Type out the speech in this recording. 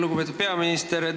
Lugupeetud peaminister!